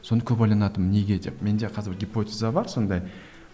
соны көп ойланатынмын неге деп менде казір гипотеза бар сондай